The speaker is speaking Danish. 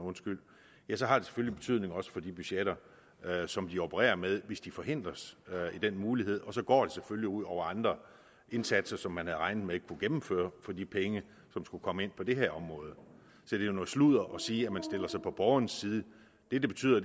ja så har det selvfølgelig betydning også for de budgetter som de opererer med hvis de forhindres i den mulighed og så går det selvfølgelig ud over andre indsatser som man havde regnet med kunne gennemføres for de penge som skulle komme ind på det her område så det er noget sludder at sige at man stiller sig på borgerens side det det betyder